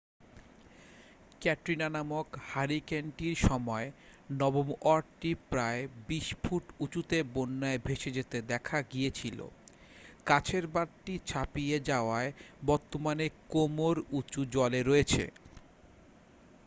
ক্যাটরিনা নামক হারিকেনটির সময় নবম ওয়ার্ডটি প্রায় 20 ফুট উঁচুতে বন্যায় ভেসে যেতে দেখা গিয়েছিল কাছের বাঁধটি ছাপিয়ে যাওয়ায় বর্তমানে কোমর-উঁচু জলে রয়েছে